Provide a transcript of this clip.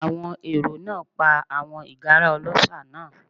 Àwọn èrò náà pa àwọn ìgárá ọlọ́ṣà náà.